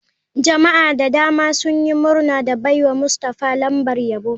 Jama'a da dama sun yi murna da baiwa mustafah lambar yabo.